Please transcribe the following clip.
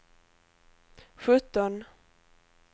sjutton